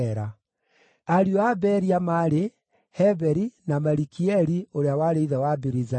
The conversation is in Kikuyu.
Ariũ a Beria maarĩ: Heberi na Malikieli ũrĩa warĩ ithe wa Birizaithu.